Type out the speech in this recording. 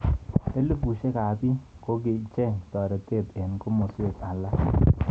Elibushek ab bik kokicheng toretet eng kimoswek alak.